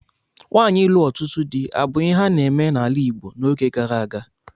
Nwaanyi ịlụ ọtụtụ di abu ihe a na-eme n'ala Igbo n'oge gara aga?